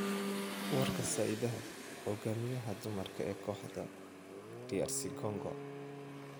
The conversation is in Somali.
Warka Saidate: Hogaamiyaha dumarka ee kooxda DR Congo